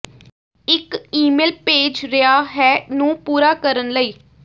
ਇੱਕ ਈਮੇਲ ਭੇਜ ਰਿਹਾ ਹੈ ਨੂੰ ਪੂਰਾ ਕਰਨ ਲਈ